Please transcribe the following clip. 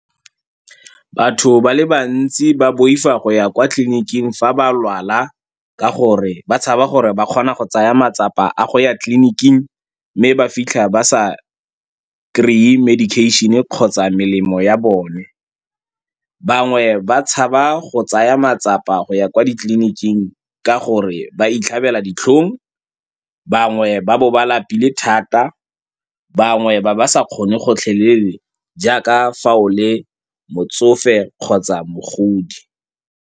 Batho ba le bantsi ba boifa go ya kwa tleliniking fa ba lwala ka gore ba tshaba gore ba kgona go tsaya matsapa a go ya tleliniking mme ba fitlha ba sa kry-e medication-e kgotsa melemo ya bone. Bangwe ba tshaba go tsaya matsapa go ya kwa ditleliniking ka gore ba itlhabela ditlhong, bangwe ba bo ba lapile thata, bangwe ba ba sa kgone gotlhelele jaaka fao le motsofe kgotsa mogodi.